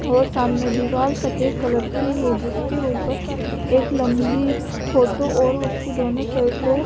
और सामने दीवार सफ़ेद कलर की हैं जिसके ऊपर एक लम्बी फोटो और उसके दोनों साइड को--